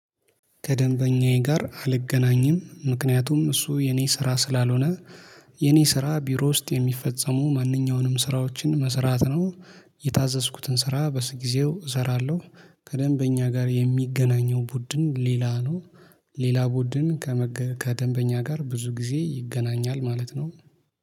ከደንበኛዬ ጋር አልገናኝም ምክንያቱም እሱ የኔ ስራ ስላልሆነ። የኔ ስራ ቢሮ ውስጥ የሚፈጸሙ ማንኛውንም ስራዎችን መስራት ነው። የታዘዝኩትን ስራ በጊዜው እሰራለሁ። ከደንብ ከደንበኛ ጋር የሚገናኘው ቡድን ሌላ ነው። ሌላ ቡድን ከደንበኛ ጋር ብዙ ጊዜ ይገናኛል ማለት ነው።